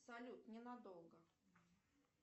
салют ненадолго